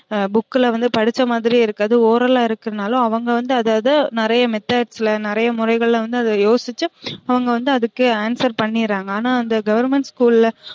Book ல வந்து படிச்ச மதிரியே இருக்காது oral ஆ இருக்கரதுனால அவுங்க வந்து அத அத நிறையா methods ல நிறையா முறைகள்ல வந்து அத யோசிச்சு அவுங்க வந்து அதுக்கு answer பண்ணிராங்க ஆனா அந்த government school ல